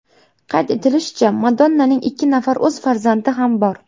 Qayd etilishicha, Madonnaning ikki nafar o‘z farzandi ham bor.